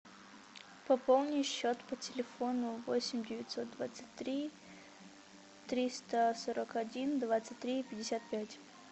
пополни счет по телефону восемь девятьсот двадцать три триста сорок один двадцать три пятьдесят пять